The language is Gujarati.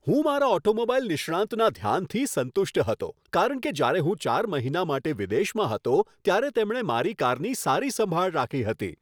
હું મારા ઓટોમોબાઈલ નિષ્ણાંતના ધ્યાનથી સંતુષ્ટ હતો કારણ કે જ્યારે હું ચાર મહિના માટે વિદેશમાં હતો ત્યારે તેમણે મારી કારની સારી સંભાળ રાખી હતી.